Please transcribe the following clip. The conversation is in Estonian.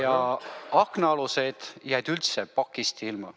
Ja aknaalused jäid üldse pakist ilma.